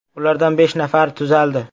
Ulardan besh nafari tuzaldi .